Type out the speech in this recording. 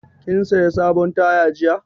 Kin saya sabon taya jiya?